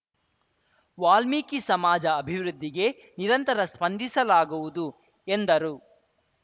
ವಾಲ್ಮೀಕಿ ಸಮಾಜ ಅಭಿವೃದ್ಧಿಗೆ ನಿರಂತರ ಸ್ಪಂದಿಸಲಾಗುವುದು ಎಂದರು